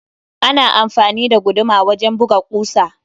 Ana amfani da guduma wajen buga ƙusa